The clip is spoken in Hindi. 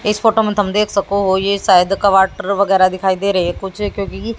इस फोटो में तो हम देख सकु है ये शायद कबाड ट्र वेगेरा दिखाई दे रही कुछ क्योँकी--